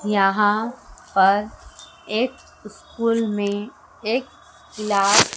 यहां पर एक स्कूल में एक क्लास --